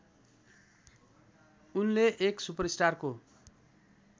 उनले एक सुपरस्टारको